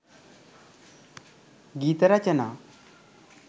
ගීත රචනා